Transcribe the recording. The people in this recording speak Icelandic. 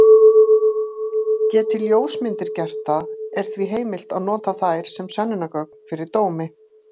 Geti ljósmyndir gert það, er því heimilt að nota þær sem sönnunargögn fyrir dómi.